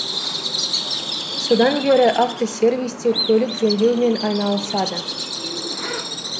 содан бері автосервисте көлік жөндеумен айналысады